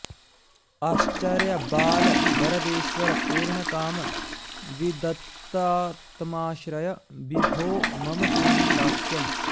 आश्चर्यबाल वरदेश्वर पूर्णकाम विद्वत्तमाश्रय विभो मम देहि दास्यम्